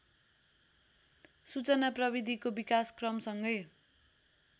सूचना प्रविधिको विकासक्रमसँगै